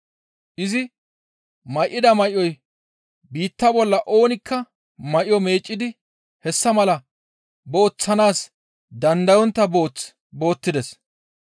Izi may7ida may7oy biitta bolla oonikka may7o meeccidi hessa mala booththanaas dandayontta booth boottides.